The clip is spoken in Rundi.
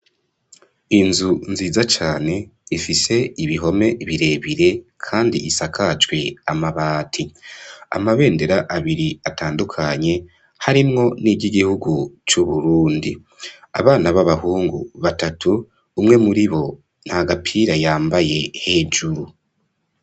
Inzu nziza cane, ifise ibihome birebire, kandi isakajwe amabati; amabendera abiri atandukanye, harimwo n'iry'igihugu c'Uburundi; abana b'abahungu batatu, umwe muri bo, nta gapira yambaye hejuru.